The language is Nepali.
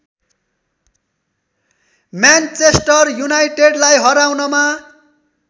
म्यानचेस्टर युनाइटेडलाई हराउनमा